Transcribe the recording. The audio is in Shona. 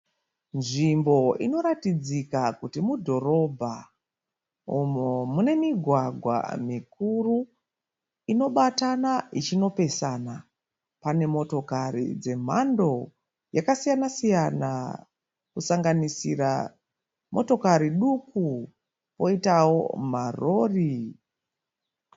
Nzvimbo unoratidzika kuti mudhorobha umo mune migwagwa mikuru inobatana ichinopesana. Pane motokari dzemhando yakasiyana siyana kusanganisira motokari duku poitawo marori.